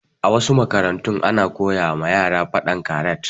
A wasu makarantun ana koyawa yara faɗan karat